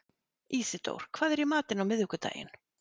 Ísidór, hvað er í matinn á miðvikudaginn?